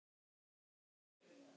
hugsaði hún.